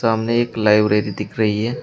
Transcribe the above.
सामने एक लाइब्रेरी दिख रही है।